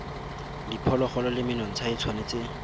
diphologolo le menontsha e tshwanetse